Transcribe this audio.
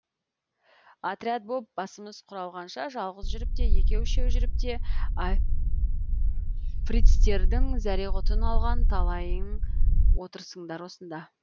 отряд боп басымыз құралғанша жалғыз жүріп те екеу үшеу жүріп те фрицтердің зәре құтын алған талайың отырсыңдар осында